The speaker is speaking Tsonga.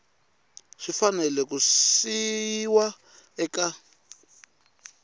swi fanele ku yisiwa eka